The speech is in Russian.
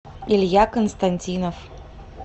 илья константинов